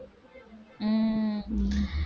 உம்